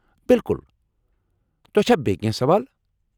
بِالكُل ! تۄہہ چھا بیٚیہ کینٛہہ سوال ؟